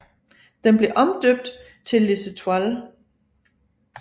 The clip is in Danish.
Den blev omdøbt til Les Étoiles